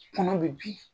Kɔnɔ bi